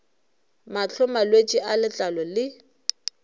mahlo malwetse a letlalo le